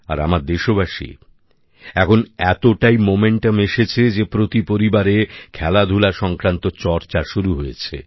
আর আমার দেশবাসী এখন এতটা গতি এসেছে যে প্রতি পরিবারে খেলাধুলা সংক্রান্ত চর্চা শুরু হয়েছে